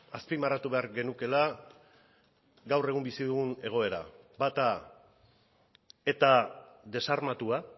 azpimarratu behar genukeela gaur egun bizi dugun egoera bata eta desarmatua